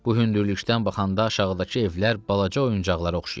Bu hündürlükdən baxanda aşağıdakı evlər balaca oyuncaqlara oxşayırdı.